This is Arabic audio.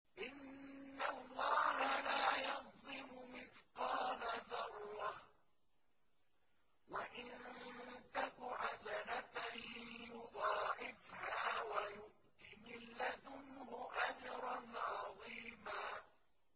إِنَّ اللَّهَ لَا يَظْلِمُ مِثْقَالَ ذَرَّةٍ ۖ وَإِن تَكُ حَسَنَةً يُضَاعِفْهَا وَيُؤْتِ مِن لَّدُنْهُ أَجْرًا عَظِيمًا